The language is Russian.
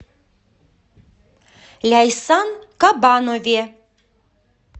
ляйсан кабанове